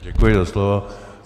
Děkuji za slovo.